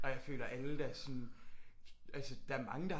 Og jeg føler alle der sådan altså der er mange der